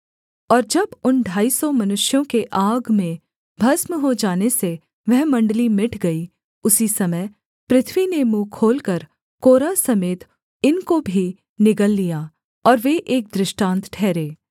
और जब उन ढाई सौ मनुष्यों के आग में भस्म हो जाने से वह मण्डली मिट गई उसी समय पृथ्वी ने मुँह खोलकर कोरह समेत इनको भी निगल लिया और वे एक दृष्टान्त ठहरे